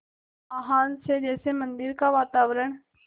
आह्वान से जैसे मंदिर का वातावरण